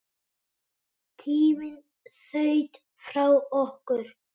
Tíminn þaut frá okkur.